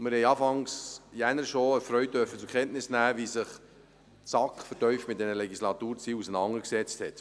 Wir haben Anfang Januar erfreut zur Kenntnis genommen, wie sich die SAK vertieft mit diesen Legislaturzielen auseinandergesetzt hat.